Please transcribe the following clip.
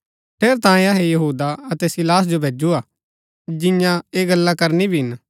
ठेरैतांये अहै यहूदा अतै सीलास जो भैजुआ जिंआं ऐह गल्ला करनी भी हिन